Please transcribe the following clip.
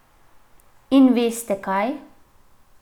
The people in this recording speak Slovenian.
In veste kaj?